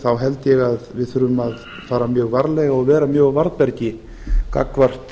þá held ég að við þurfum að fara mjög varlega og vera mjög á varðbergi gagnvart